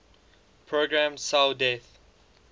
programmed cell death